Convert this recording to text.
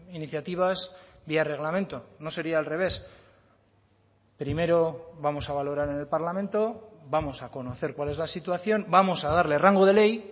iniciativas vía reglamento no sería al revés primero vamos a valorar en el parlamento vamos a conocer cuál es la situación vamos a darle rango de ley